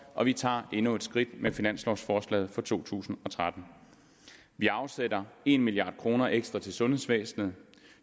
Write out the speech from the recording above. og vi tager endnu et skridt med finanslovforslaget for to tusind og tretten vi afsætter en milliard kroner ekstra til sundhedsvæsenet